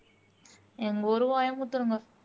எங்க ஊரு கோயமுத்தூருங்க